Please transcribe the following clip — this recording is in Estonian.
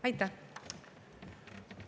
Aitäh!